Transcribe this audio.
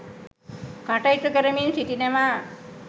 කටයුතු කරමින් සිටිනවා.